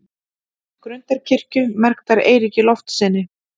Grundarkirkju, merktar Eiríki Loftssyni.